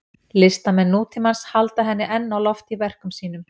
Listamenn nútímans halda henni enn á lofti í verkum sínum.